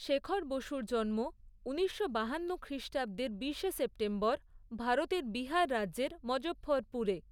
শেখর বসুর জন্ম ঊনিশশো বাহান্ন খ্রিষ্টাব্দের বিশে সেপ্টেম্বর ভারতের বিহার রাজ্যের মজঃফরপুরে।